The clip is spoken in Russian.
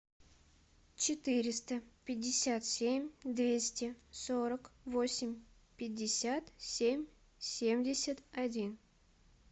четыреста пятьдесят семь двести сорок восемь пятьдесят семь семьдесят один